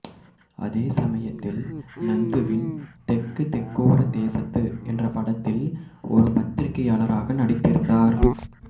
அதே சமயத்தில் நந்துவின் தெக்கு தெக்கோர தேசத்து என்ற படத்தில் ஒரு பத்திரிகையாளராக நடித்திருந்தார்